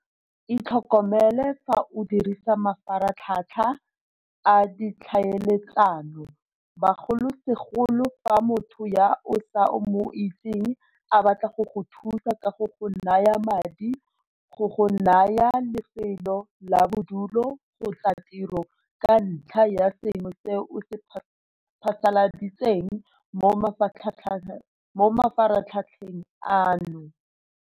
Itlhokomele fa o dirisa mafaratlhatlha a ditlhaeletsano, bogolosegolo fa motho yo o sa mo itseng a batla go go thusa ka go go naya madi, go go naya lefelo la bodulo kgotsa tiro ka ntlha ya sengwe se o se phasaladitseng mo mafaratlhatlheng ano.